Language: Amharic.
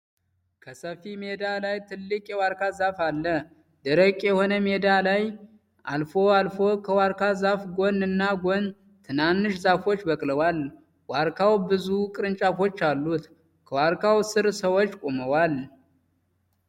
ከሰፊ ሜዳ ላይ ትልቅ የዋርካ ዛፍ አለ። ደረቅ የሆነ ሜዳ ላይ አልፎ አልፎ ከዋርካ ዛፉ ጎን እና ጎን ትናንሽ ዛፎች በቅለዋል። ዋርኬዉ ብዙ ቅርጫፎች አሉት። ከዌርኬዉ ስር ሰዎች ቆመዋል።